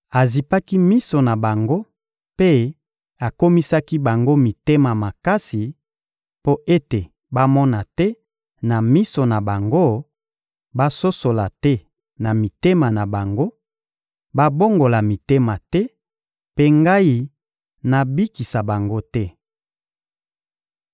«Azipaki miso na bango mpe akomisaki bango mitema makasi, mpo ete bamona te na miso na bango, basosola te na mitema na bango, babongola mitema te, mpe ngai nabikisa bango te.»